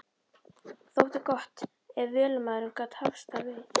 Þótti gott ef vélamaðurinn gat hafst þar við.